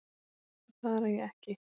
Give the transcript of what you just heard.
Auðvitað blaðra ég ekki.